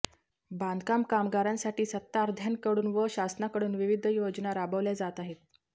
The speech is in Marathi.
बांधकाम कामगारांसाठी सत्ताआधार्यां्कडून व शासनाकडून विविध योजना राबविल्या जात आहेत